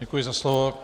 Děkuji za slovo.